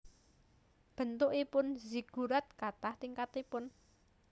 Bentukipun Ziggurat katah tingkatipun